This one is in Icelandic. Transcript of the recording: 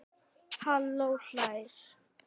Halla hlær.